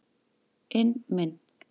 inn minn.